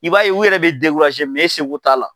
I b'a ye u yɛrɛ bɛ e seko t'a la.